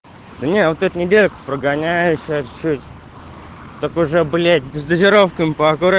да не вот это неделя прогоняешься чуть-чуть только уже блять с дозировками поаккуратнее